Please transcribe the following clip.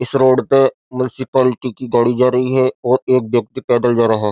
इस रोड पे म्युनिसिपालिटी की गाड़ी जा रही है और एक व्यक्ति पैदल जा रहा --